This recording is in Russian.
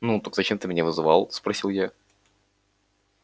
ну так зачем ты меня вызывал спросил я